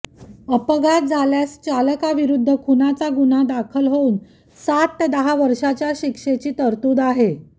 अपघात झाल्यास चालकाविरुद्ध खुनाचा गुन्हा दाखल होऊन सात ते दहा वर्षांच्या शिक्षेची तरतूद आहे